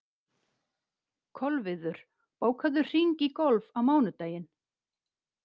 Kolviður, bókaðu hring í golf á mánudaginn.